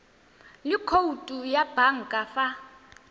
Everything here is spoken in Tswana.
le khoutu ya banka fa